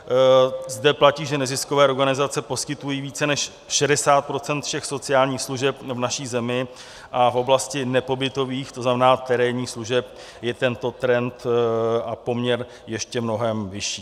Zde platí, že neziskové organizace poskytují více než 60 % všech sociálních služeb v naší zemi, a v oblasti nepobytových, to znamená terénních služeb, je tento trend a poměr ještě mnohem vyšší.